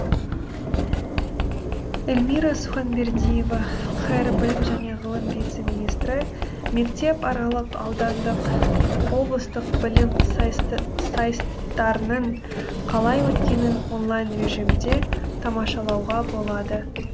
эльмира суханбердиева қр білім және ғылым вице министрі мектеп аралық аудандық облыстық білім сайыстарының қалай өткенін онлайн режимде тамашалауға болады